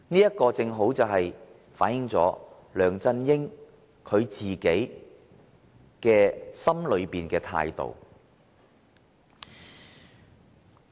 這正好反映梁振英心底的態度。